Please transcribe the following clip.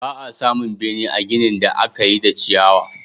Ba a samun bene a ginin da aka yi da ciyawa.